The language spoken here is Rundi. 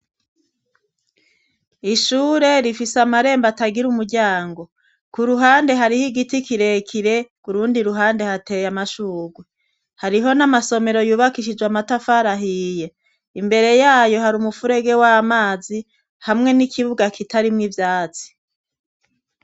ishure rifise amarembo atagira umuryango ku ruhande hariho igiti kirekire kurundi ruhande hateye amashugwe hariho n'amasomero yubakishijwe amatafari ahiye imbere yayo hari umufurege w'amazi hamwe n'ikibuga kitarimwo ivyatsi